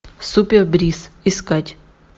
супер брис искать